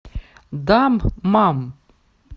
даммам